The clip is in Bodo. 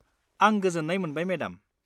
आं गोजोन्नाय मोनबाय मेडाम।